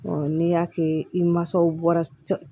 n'i y'a kɛ i mansaw bɔra